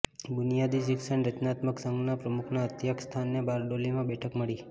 બુનિયાદી શિક્ષણ રચનાત્મક સંઘના પ્રમુખના અધ્યક્ષસ્થાને બારડોલીમાં બેઠક મળી